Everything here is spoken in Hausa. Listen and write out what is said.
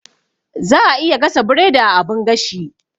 Za'a iya gasa biredi a abun gashi.